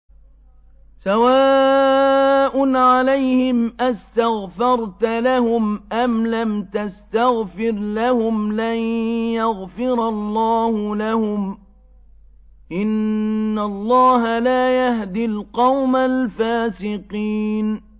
سَوَاءٌ عَلَيْهِمْ أَسْتَغْفَرْتَ لَهُمْ أَمْ لَمْ تَسْتَغْفِرْ لَهُمْ لَن يَغْفِرَ اللَّهُ لَهُمْ ۚ إِنَّ اللَّهَ لَا يَهْدِي الْقَوْمَ الْفَاسِقِينَ